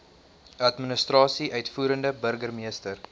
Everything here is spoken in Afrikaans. administrasie uitvoerende burgermeester